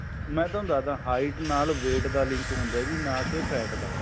ਮੈਂ ਥੋਨੂੰ ਦੱਸਦਾਂ height ਨਾਲ weight ਦਾ link ਹੁੰਦਾ ਜੀ ਨਾ ਕੇ fat ਦਾ